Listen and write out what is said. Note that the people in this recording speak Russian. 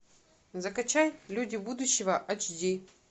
закачай люди будущего ач ди